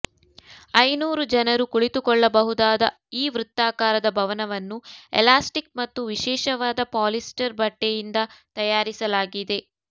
ಐನೂರು ಜನರು ಕುಳಿತುಕೊಳ್ಳಬಹುದಾದ ಈ ವೃತ್ತಾಕಾರದ ಭವನವನ್ನು ಎಲಾಸ್ಟಿಕ್ ಮತ್ತು ವಿಶೇಷವಾದ ಪಾಲಿಸ್ಟರ್ ಬಟ್ಟೆಯಿಂದ ತಯಾರಿಸಲಾಗಿದೆ